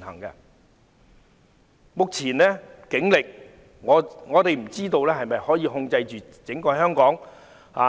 我不知道以目前的警力，能否控制香港